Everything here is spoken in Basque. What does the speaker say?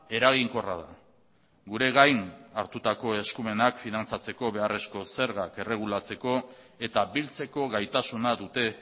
eraginkorra da gure gain hartutako eskumenak finantzatzeko beharreko zergak erregulatzeko eta biltzeko gaitasuna dute